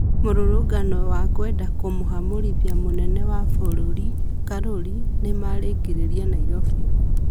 Mĩrũrũngano ya kwenda kũmũhamurĩthĩa mũnene wa bũrũri Karuri nĩmarekĩkire Nairobi